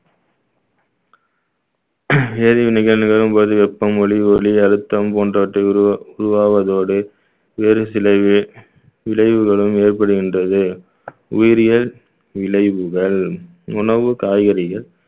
வேதிவினைகள் நிகழும்போது வெப்பம் ஒளி ஒளி அழுத்தம் போன்றவற்றை உருவா~ உருவாவதோடு வேறு சில வே~ விளைவுகளும் ஏற்படுகின்றது உயிரியல் விளைவுகள் உணவு காய்கறிகள்